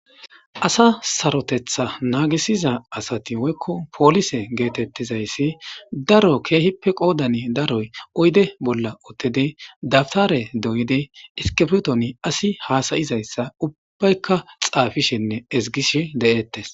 asa sarotetha naagisiza asati woykko poolise geetettizayssi daro keehippe qoodani daroy oyde bolla uttidi dabtare doyidi iskifitoni asi haasayizayssa ubbaykka xaafishenne ezgish de7eettes